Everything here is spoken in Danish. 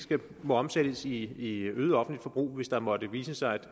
må omsættes i øget offentlig forbrug hvis der måtte vise sig at